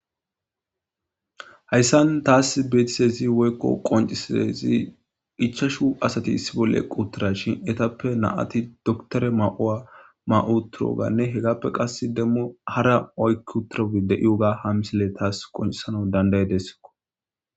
hayssan taas beetisezi woykko qoncisezi ichashu asati issi bolle quttira shin etappe naati doktore ma7owa ma7uturoganne hegappe qas demmu hara oykki utrai de7iyoga ha misile taas qoncisana dandayedessiko.